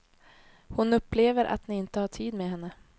Hon upplever att ni inte har tid med henne.